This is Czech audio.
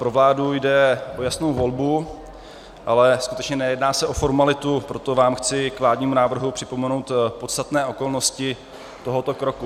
Pro vládu jde o jasnou volbu, ale skutečně nejedná se o formalitu, proto vám chci k vládnímu návrhu připomenout podstatné okolnosti tohoto roku.